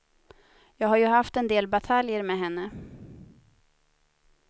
Jag har ju haft en del bataljer med henne.